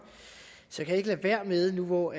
så kan jeg ikke lade være med nu hvor